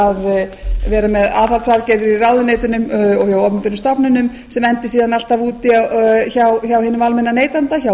að vera með aðhaldsaðgerðir í ráðuneytunum og hjá opinberum stofnunum sem endi síðan alltaf úti hjá hinum almenna neytanda hjá